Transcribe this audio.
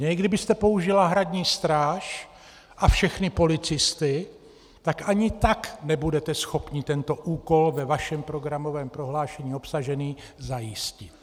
I kdybyste použila Hradní stráž a všechny policisty, tak ani tak nebudete schopni tento úkol ve vašem programovém prohlášení obsažený zajistit.